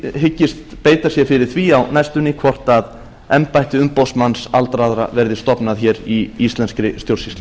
hyggist beita sér fyrir því á næstunni hvort embætti umboðsmanns aldraðra verði stofnað hér í íslenskri stjórnsýslu